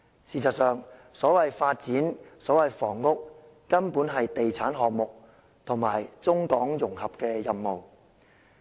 事實上，所謂房屋，所謂發展，根本是地產項目和中港融合的任務。